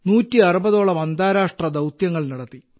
160 ഓളം അന്താരാഷ്ട്ര ദൌത്യങ്ങൾ നടത്തി